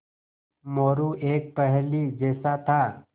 मोरू एक पहेली जैसा था